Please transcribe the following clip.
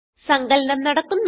സങ്കലനം നടക്കുന്നു